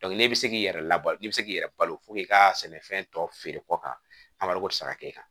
n'e bɛ se k'i yɛrɛ labɔ i bɛ se k'i yɛrɛ balo i ka sɛnɛfɛn tɔ feere kɔ kan a bɛ wariko tɛ se ka kɛ e kan